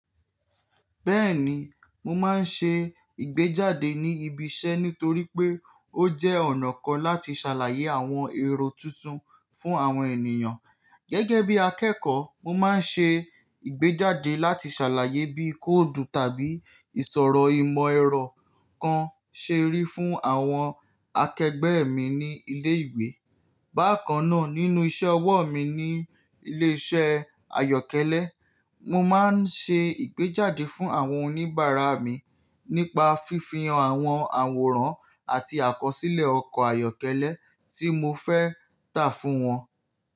Bẹ́ẹ̀ni, mo máa ń ṣe ìgbéjáde ní ibi iṣẹ́ nítorí pé ó jẹ́ ọ̀nà kan láti ṣàlàyé àwọn ẹ̀rọ tuntun fún àwọn ènìyàn. Gẹ́gẹ́bí akẹ́kọ̀ọ́, mo máa ń ṣe ìgbéjáde láti ṣàlàyé bí kóòdù tàbí ìsòro ìmọ̀ ẹ̀rọ kan ṣe rí fún àwọn akẹgbẹ́ mi ní ilé ìwé. Bákannáà, nínú iṣẹ́ ọwọ́ mi ní ilé iṣẹ́ ayọ́kẹ́lẹ́, mo máa ń ṣe ìgbéjáde fún àwọn oníbàárà mi nípa fífi hàn àwọn àwòrán àti àkọsílẹ̀ ọkọ̀ ayọ́kẹ́lẹ́ tí mo fẹ́ tà fún wọn.